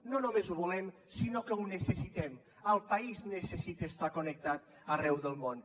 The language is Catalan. no només ho volem sinó que ho necessitem el país necessita estar connectat arreu del món